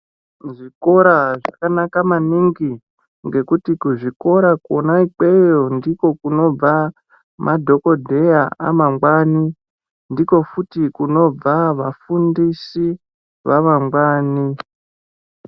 Zvikora zvakanaka maningi ngekuti kuzvikora kona ikweyo ndiko kunobva madhokodheya amangwani ndiko futi kunobva vafundisi vamangwani.